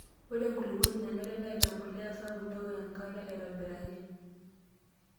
Ore enkulupuoni nanare neata empuliya sapuk newok enkare aitobiraki.